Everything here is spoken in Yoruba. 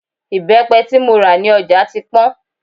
Ìbẹ́pẹ tí mo rà ní ọjà ti pọ́n